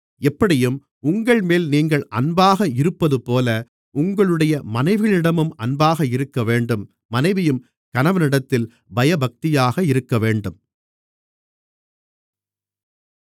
எப்படியும் உங்கள்மேல் நீங்கள் அன்பாக இருப்பதுபோல உங்களுடைய மனைவிகளிடமும் அன்பாக இருக்கவேண்டும் மனைவியும் கணவனிடத்தில் பயபக்தியாக இருக்கவேண்டும்